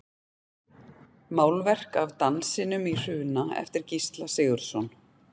Málverk af Dansinum í Hruna eftir Gísla Sigurðsson.